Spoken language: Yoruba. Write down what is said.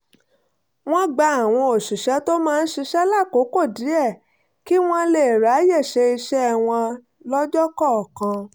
wọ́n gba àwọn òṣìṣẹ́ tó máa ń ṣiṣẹ́ lákòókò díẹ̀ kí wọ́n lè ráyè ṣe iṣẹ́ wọn lọ́jọ́ kọ̀ọ̀kan